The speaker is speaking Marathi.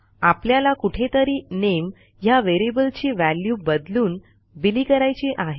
आपल्याला कुठेतरी nameह्या व्हेरिएबलची व्हॅल्यू बदलून बिली करायची आहे